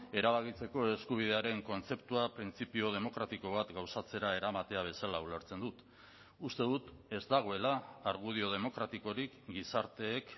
erabakitzeko eskubidearen kontzeptua printzipio demokratiko bat gauzatzera eramatea bezala ulertzen dut uste dut ez dagoela argudio demokratikorik gizarteek